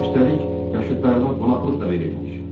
Üstəlik, yaşıdlarına qonaqlıq da verirmiş.